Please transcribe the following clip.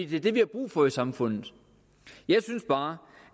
det er det vi har brug for i samfundet jeg synes bare